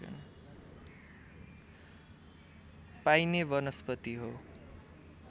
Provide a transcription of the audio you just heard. पाइने वनस्पति हो